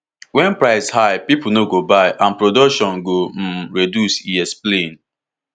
wen price high pipo no go buy and production go um reduce e explain